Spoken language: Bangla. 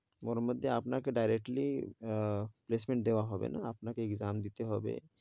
ওর মধ্যে আপনাকে directly আহ placement দেওয়া হোনে না, আপনাকে exam দিতে হবে,